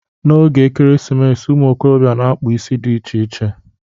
N'oge Ekeresimesi, ụmụikorobịa na-akpụ isi dị iche iche.